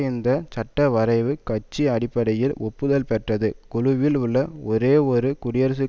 இந்த சட்டவரைவு கட்சி அடிப்படையில் ஒப்புதல் பெற்றது குழுவில் உள்ள ஒரே ஒரு குடியரசுக்